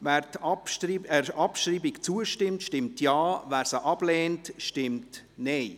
Wer der Abschreibung zustimmt, stimmt Ja, wer diese ablehnt, stimmt Nein.